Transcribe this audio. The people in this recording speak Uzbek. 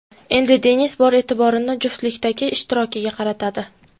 Endi Denis bor e’tiborini juftlikdagi ishtirokiga qaratadi.